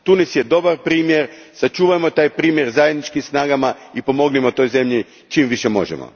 Tunis je dobar primjer, sačuvajmo taj primjer zajedničkim snagama i pomognimo toj zemlji čim više možemo.